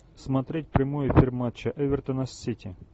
смотреть прямой эфир матча эвертона с сити